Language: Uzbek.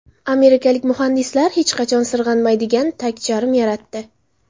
Amerikalik muhandislar hech qachon sirg‘anmaydigan tagcharm yaratdi.